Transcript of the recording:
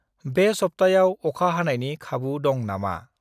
बे सप्तायाव अखा हानायनि खाबु दं ना मा?